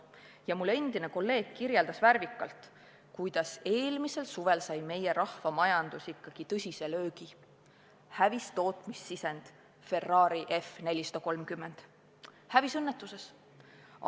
Üks mu endine kolleeg kirjeldas värvikalt, kuidas eelmisel suvel sai meie rahvamajandus ikka tõsise löögi: hävis tootmissisend Ferrari F430, hävis õnnetuses.